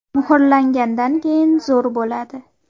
Muhrlangandan keyin zo‘r bo‘ladi.